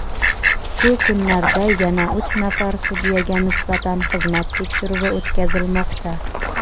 Shu kunlarda yana uch nafar sudyaga nisbatan xizmat tekshiruvi o‘tkazilmoqda.